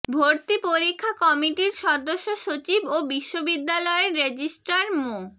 ভর্তি পরীক্ষা কমিটির সদস্য সচিব ও বিশ্ববিদ্যালয়ের রেজিস্ট্রার মো